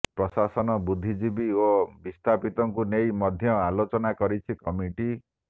ପ୍ରଶାସନ ବୁଦ୍ଧିଜୀବୀ ଓ ବିସ୍ଥାପିତଙ୍କୁ ନେଇ ମଧ୍ୟ ଆଲୋଚନା କରିଛି କମିଟି